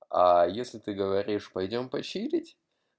аа если ты говоришь пойдём поширить